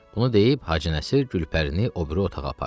Bunu deyib Hacı Nəsir Gülpərini o biri otağa apardı.